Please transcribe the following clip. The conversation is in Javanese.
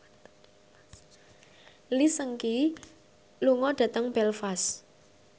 Lee Seung Gi lunga dhateng Belfast